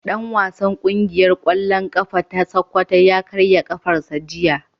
Dan wasan kungiyar kwallon kafa ta sokoto ya karya kafarsa jiya.